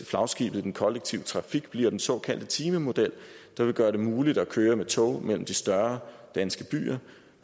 flagskibet i den kollektive trafik bliver den såkaldte timemodel der vil gøre det muligt at køre med tog mellem de større danske byer